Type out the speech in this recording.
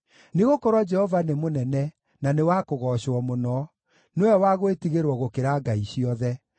Nĩgũkorwo Jehova nĩ mũnene, na nĩ wa kũgoocwo mũno; nĩwe wa gwĩtigĩrwo gũkĩra ngai ciothe.